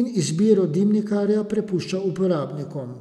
in izbiro dimnikarja prepušča uporabnikom.